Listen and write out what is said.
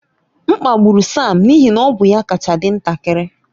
M kpagburu Sam n'ihi na ọ bụ ya kacha dị ntakịrị.